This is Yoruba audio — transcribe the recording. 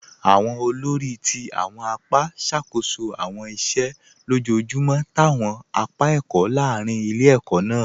Awọn òlórí ti awọn àpá ṣakoso awọn ìṣẹ̀ lọ́jọjumọ̀ t'awọn àpá ẹkọ̀ lárìn ilẹ̀-ẹ̀kọ̀ náà.